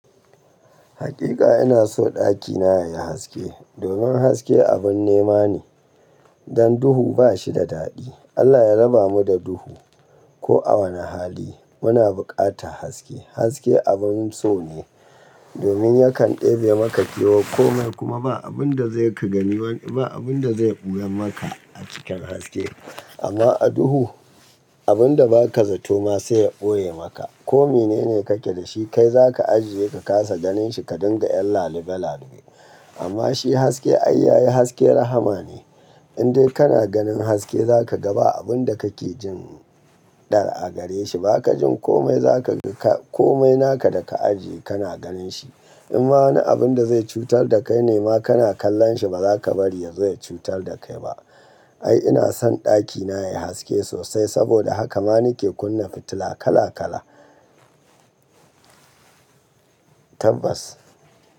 Hakika ina so ɗakina yayi haske. Domin haske abun nema ne, dan duhu bashi da daɗi. Allah ya raba mu da duhu. Ko a wane hali muna bukata haske. Hasake abun so ne, domin yakan ɗebe maka kewar komai kuma ba abun zai ka gani ba abun zai ɓoye maka a cikin haske. Amma a duhu abun da baka zato ma sai ya ɓoye maka. Komai ne kake da shi kai zaka ajiye ka kasa ganin shi ka dinga yan lalube-lalube. Amma shi haske ai yayi haske rahma ne. Indai kana ganin haske zaka ga ba abun da kake jin ɗar a gare shi. Baka jin komai naka da ka ajiye kana ganin shi. Inma wani abun zai cutar da kai nema kana kallon shi bazaka bari ya zo cutar da kai ba. Ai ina son ɗakina yayi haske sosai saboda haka ma nike kunna fitila kala kala. Tabbas.